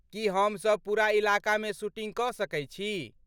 की हम सब पूरा इलाकामे शूटिंग कऽ सकै छी?